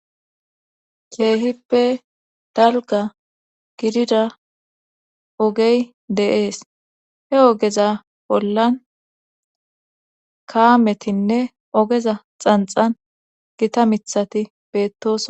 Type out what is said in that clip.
Keehippe dalgga gidida ogey de7ees he ogeza bollan kaametinne ogeza xanxxan gita mithati beettoso.